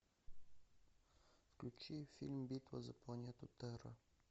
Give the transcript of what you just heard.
включи фильм битва за планету терра